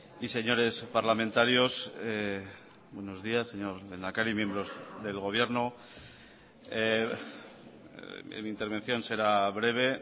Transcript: y señores parlamentarios buenos días señor lehendakari miembros del gobierno mi intervención será breve